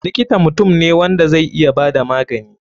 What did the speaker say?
Likita mutum ne wanda zai iya bada magani.